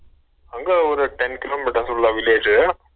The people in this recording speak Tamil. அங்க ஒரு ten kilometers உள்ள village உ